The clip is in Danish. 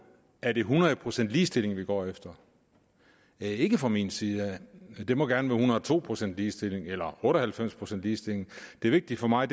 er det hundrede procent ligestilling vi går efter ikke fra min side det må gerne være en hundrede og to procent ligestilling eller otte og halvfems procent ligestilling det vigtige for mig